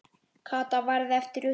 Kata varð eftir uppi.